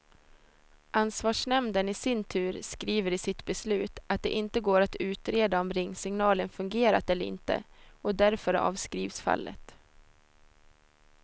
Ansvarsnämnden i sin tur skriver i sitt beslut att det inte går att utreda om ringsignalen fungerat eller inte, och därför avskrivs fallet.